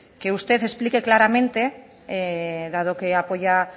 que usted explique claramente dado que apoya